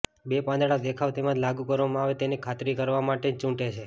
બે પાંદડા દેખાવ તેમજ લાગુ કરવામાં આવે તેની ખાતરી કરવા માટે ચૂંટે છે